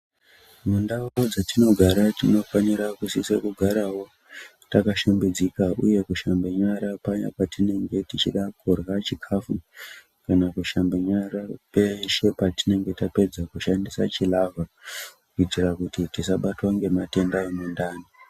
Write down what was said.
Mundau dzetinogara tinofanira kusisa kugarawo takashambidzika uye kushambe nyara page patinongantichida kurye chikafu kana kushamba nyara peshe patinenge tapedza kushandisa chilavha kuitira kuti tisabatwa ngematenda emundani.